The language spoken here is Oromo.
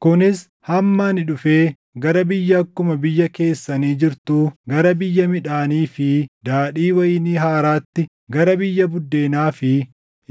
kunis hamma ani dhufee gara biyya akkuma biyya keessanii jirtuu, gara biyya midhaanii fi daadhii wayinii haaraatti, gara biyya buddeenaa fi